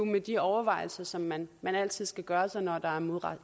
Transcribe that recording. med de overvejelser som man man altid skal gøre sig når der er